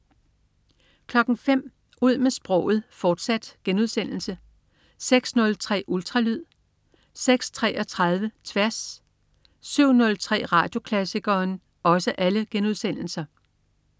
05.00 Ud med sproget, fortsat* 06.03 Ultralyd* 06.33 Tværs* 07.03 Radioklassikeren*